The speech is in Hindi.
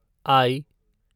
आई